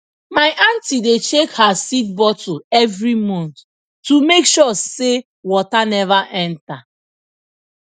my aunty dey check her seed bottle every month to make sure say water never enter